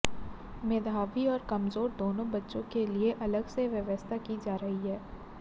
मेधावी और कमजोर दोनों बच्चों के लिए अलग से व्यवस्था की जा रही है